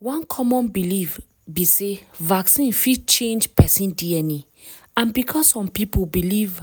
one common belief be sey vaccine fit change person dna and because some people believe